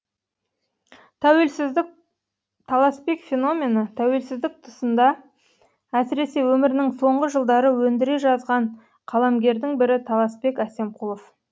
таласбек феномені тәуелсіздік тұсында әсіресе өмірінің соңғы жылдары өндіре жазған қаламгердің бірі таласбек әсемқұлов